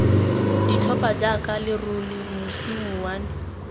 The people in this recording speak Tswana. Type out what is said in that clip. ditlhopha jaaka lerole mosi mouwane